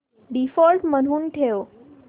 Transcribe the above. default म्हणून ठेव